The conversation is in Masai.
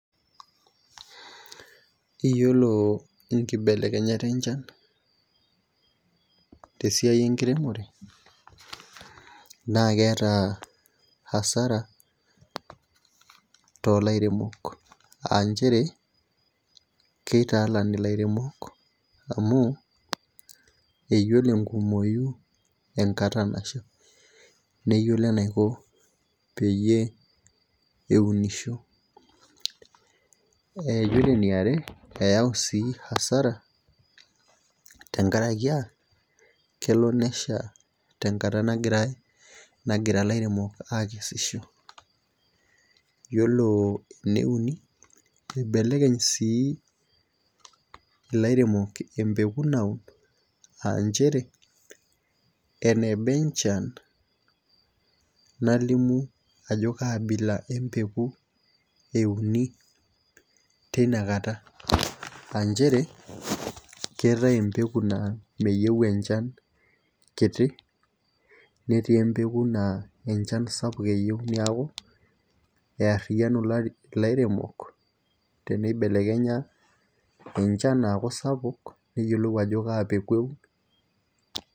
Iyiolo nkibelekenyat enchan, tesiai enkiremore. naa keeta asara toolairemok aa nchere, keitaalan ilaremok amu eyiolo nkumoi enkata Nasha, neyiolo enaiko peyie eunisho. iyiolo eniare, eyau sii asara, tenkaraki aa kelo nesha tenkata nagira ilairemok aakesisho. iyiolo eneuni Ibelekeny sii ilairemok empeku, naun aa nchere eneba enchan nalimu ajo kaabila empeku euni teina kata, AAA nchere keetae empeku naa meyieu enchan kiti. netii empeku naa enchan eyieu neeku eyariyianu ilairemok teneibelekenya enchan aaku sapuk, neyiolou ajo kaa peeku eun.